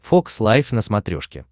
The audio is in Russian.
фокс лайф на смотрешке